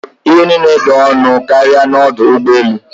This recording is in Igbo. Ihe niile dị ọnụ karịa n'ọdụ ụgbọ elu.